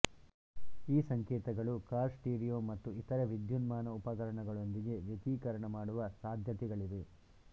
ಈ ಸಂಕೇತಗಳು car stereo ಮತ್ತು ಇತರೆ ವಿದ್ಯುನ್ಮಾನ ಉಪಕರಣಗಳೊಂದಿಗೆ ವ್ಯತಿಕರಣ ಮಾಡುವ ಸಾದ್ಯತೆಗಳಿವೆ